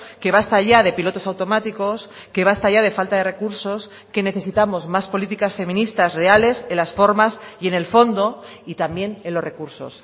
que basta ya de pilotos automáticos que basta ya de falta de recursos que necesitamos más políticas feministas reales en las formas y en el fondo y también en los recursos